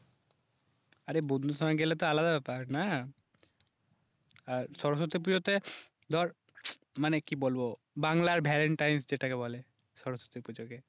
আরে বন্ধুর সাথে গেলে তো আলাদা ব্যাপার না, আর সরস্বতী পুজোতে ধর মানে কি বলবো বাংলার ভ্যালেন্টাইন্স যেটাকে বলে, সরস্বতী পুজোকে